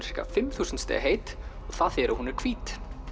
fimm þúsund stiga heit og það þýðir að hún er hvít